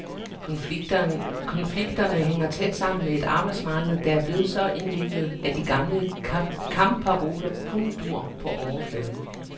Konflikterne hænger tæt sammen med et arbejdsmarked, der er blevet så indviklet, at de gamle kampparoler kun duer på overfladen.